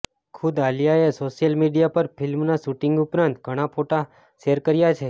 ખુદ આલિયાએ social media પર ફિલ્મના શૂટિંગ ઉપરાંત ઘણા ફોટા શેર કર્યા છે